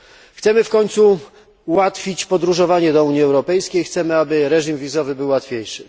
Chcemy w końcu ułatwić podróżowanie do Unii Europejskiej, chcemy, aby system wizowy był łatwiejszy.